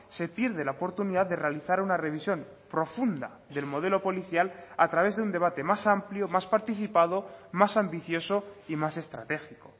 se pierde la oportunidad de realizar una revisión profunda del modelo policial a través de un debate más amplio más participado más ambicioso y más estratégico